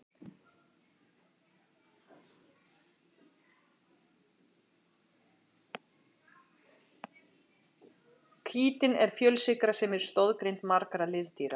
Kítín er fjölsykra sem er í stoðgrind margra liðdýra.